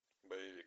боевик